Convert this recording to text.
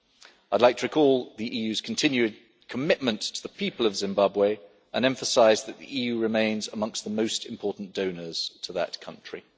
I would like to recall the EU's continuing commitment to the people of Zimbabwe and emphasise that the EU remains amongst the most important donors to that country.